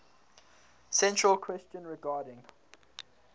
central question regarding